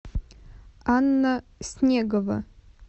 анна снегова